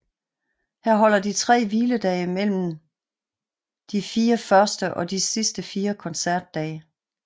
Her holder de tre hviledage mellem de 4 første og de 4 sidste koncertdage